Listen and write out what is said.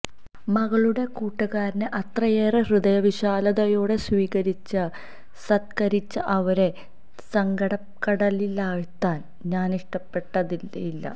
മകളുടെ കൂട്ടുകാരനെ അത്രയേറെ ഹൃദയവിശാലതയോടെ സ്വീകരിച്ച് സത്ക്കരിച്ച അവരെ സങ്കടക്കടലിലാഴ്ത്താന് ഞാനിഷ്ടപ്പെട്ടതേയില്ല